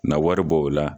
Na wari bɔ o la